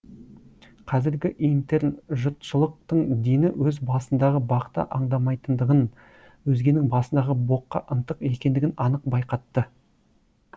қазіргі интернжұртшылықтың дені өз басындағы бақты аңдамайтындығын өзгенің басындағы боққа ынтық екендігін анық байқатты